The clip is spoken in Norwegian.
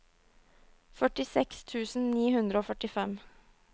førtiseks tusen ni hundre og førtifem